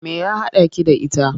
Me ya haɗaki da ita?